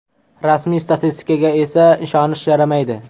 Rasmiy statistikaga esa ishonish yaramaydi.